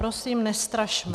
Prosím, nestrašme!